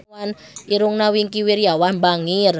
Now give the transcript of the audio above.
Irungna Wingky Wiryawan bangir